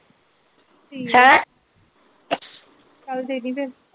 ਹੈਂ ਚਲ ਦੇਦੀਂ ਫਿਰ।